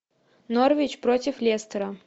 норвич против лестера